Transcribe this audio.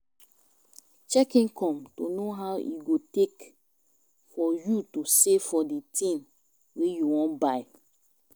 Check income to know how long e go take for you to save for di thing wey you wan buy